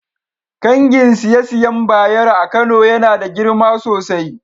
kangin siye-siyen Bayero a Kano Yana da girma sosai.